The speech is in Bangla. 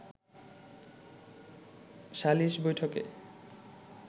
সালিশ বৈঠকে